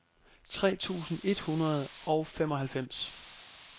tre tusind et hundrede og femoghalvfems